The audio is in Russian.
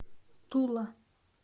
тула